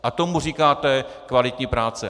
A tomu říkáte kvalitní práce.